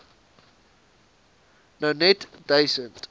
nou net duisend